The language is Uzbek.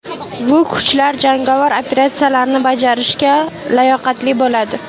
Bu kuchlar jangovar operatsiyalarni bajarishga layoqatli bo‘ladi.